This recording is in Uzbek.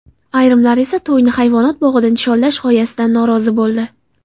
Ayrimlar esa to‘yni hayvonot bog‘ida nishonlash g‘oyasidan norozi bo‘ldi.